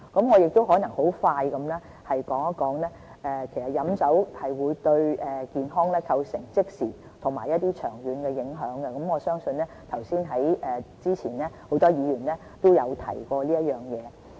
我很快地說一說，飲酒會對健康構成即時和長遠的影響，這一點早前已有很多議員提及。